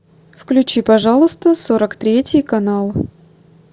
включи пожалуйста сорок третий канал